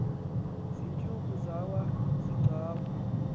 ziintsuku yaba ziicawa